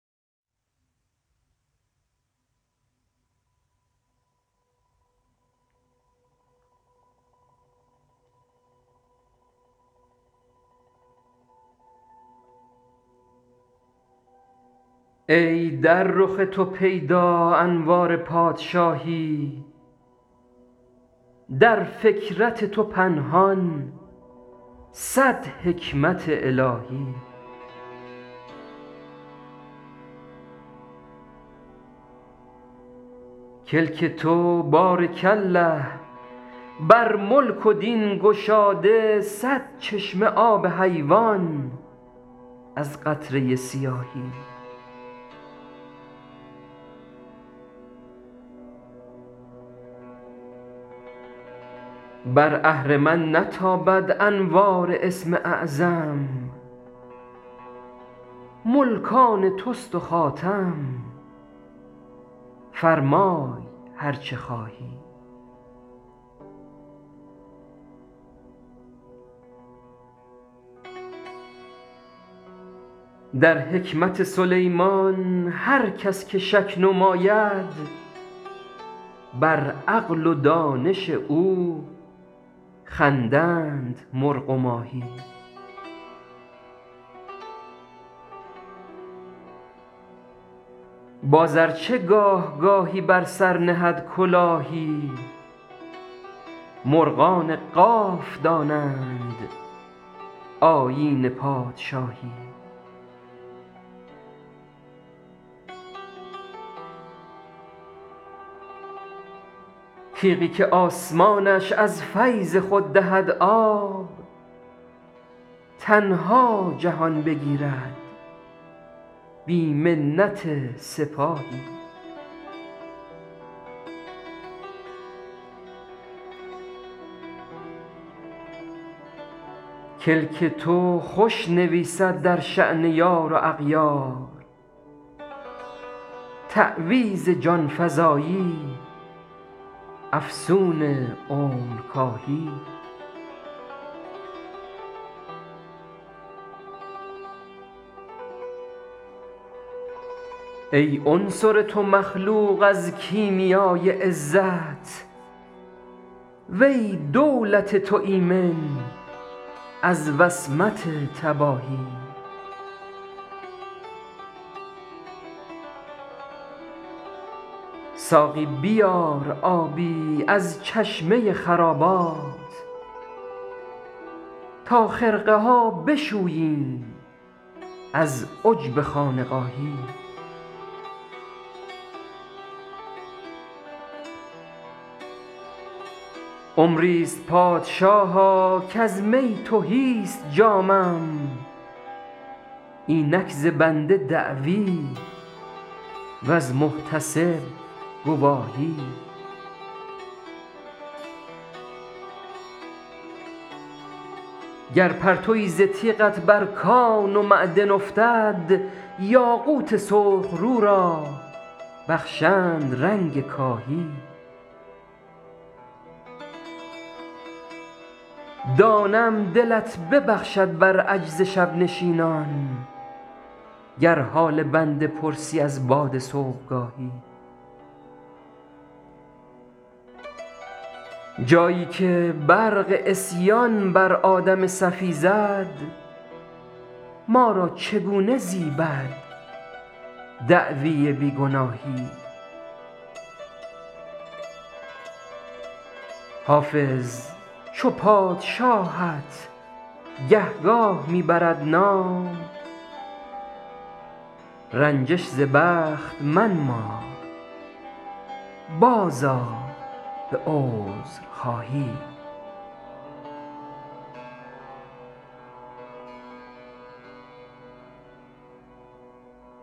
ای در رخ تو پیدا انوار پادشاهی در فکرت تو پنهان صد حکمت الهی کلک تو بارک الله بر ملک و دین گشاده صد چشمه آب حیوان از قطره سیاهی بر اهرمن نتابد انوار اسم اعظم ملک آن توست و خاتم فرمای هر چه خواهی در حکمت سلیمان هر کس که شک نماید بر عقل و دانش او خندند مرغ و ماهی باز ار چه گاه گاهی بر سر نهد کلاهی مرغان قاف دانند آیین پادشاهی تیغی که آسمانش از فیض خود دهد آب تنها جهان بگیرد بی منت سپاهی کلک تو خوش نویسد در شأن یار و اغیار تعویذ جان فزایی افسون عمرکاهی ای عنصر تو مخلوق از کیمیای عزت و ای دولت تو ایمن از وصمت تباهی ساقی بیار آبی از چشمه خرابات تا خرقه ها بشوییم از عجب خانقاهی عمری ست پادشاها کز می تهی ست جامم اینک ز بنده دعوی وز محتسب گواهی گر پرتوی ز تیغت بر کان و معدن افتد یاقوت سرخ رو را بخشند رنگ کاهی دانم دلت ببخشد بر عجز شب نشینان گر حال بنده پرسی از باد صبحگاهی جایی که برق عصیان بر آدم صفی زد ما را چگونه زیبد دعوی بی گناهی حافظ چو پادشاهت گهگاه می برد نام رنجش ز بخت منما بازآ به عذرخواهی